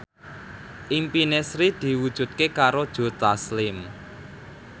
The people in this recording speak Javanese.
impine Sri diwujudke karo Joe Taslim